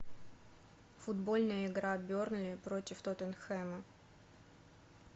футбольная игра бернли против тоттенхэма